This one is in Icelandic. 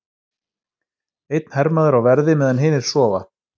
Einn hermaður á verði meðan hinir sofa.